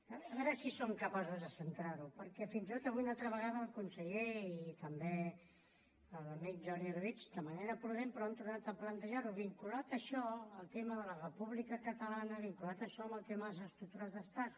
a veure si som capaços de centrar ho perquè fins i tot avui una altra vegada el conseller i també l’amic jordi orobitg de manera prudent però han tornat a plantejar ho vinculat això al tema de la república catalana vinculat això amb el tema de les estructures d’estat